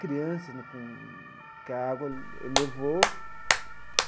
Crianças né com que a água levou.